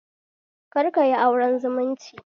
Kar kayi auren zumunci